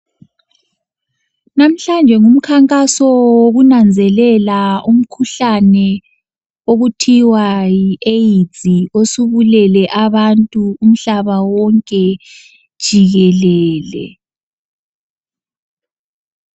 Namhlanje ngumkhankaso wokunanzelela umkhuhlane okuthiwa yiAids osubulele abantu umhlaba wonke jikelele.